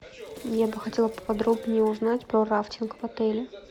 я бы хотела поподробнее узнать про рафтинг в отеле